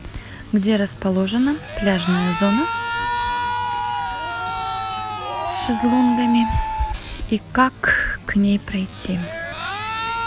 где расположена пляжная зона с шезлонгами и как к ней пройти